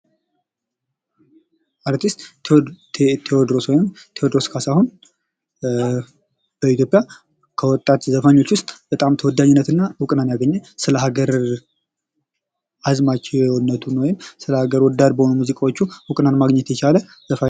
አርቲስት ቴዎድሮስ ወይም ቴዎድሮስ ካሳሁን ኢትዮጵያ ከወጣት ዘፋኞች ውስጥ በጣም ተወዳጅነትን እና እውቅናን ያገኘ ስለሀገር አዝማችነቱ ስለ ሀገር ወዳድ በሆኑ ሙዚቃዎቹ እውቅንናን ማግኘት የቻለ ዘፋኝ ነው።